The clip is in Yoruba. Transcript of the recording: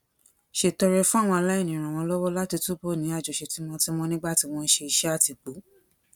ṣètọrẹ fún àwọn aláìní ràn wọn lọwọ láti túbọ ní àjọṣe tímótímó nígbà tí wọn ń ṣe iṣẹ àtìpó